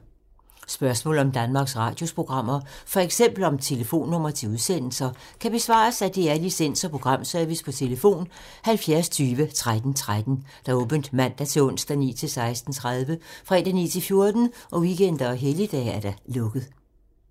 Spørgsmål om Danmarks Radios programmer, f.eks. om telefonnumre til udsendelser, kan besvares af DR Licens- og Programservice: tlf. 70 20 13 13, åbent mandag-torsdag 9.00-16.30, fredag 9.00-14.00, weekender og helligdage: lukket.